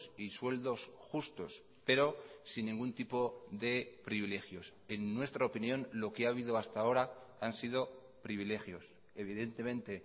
y sueldos justos pero sin ningún tipo de privilegios en nuestra opinión lo que ha habido hasta ahora han sido privilegios evidentemente